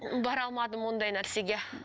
бара алмадым ондай нәрсеге